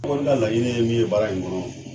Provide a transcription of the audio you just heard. An kɔni ka laɲini ye min ye baara in kɔnɔ